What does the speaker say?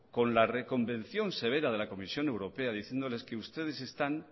con la reconvención severa de la comisión europea diciéndoles que ustedes están